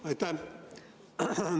Aitäh!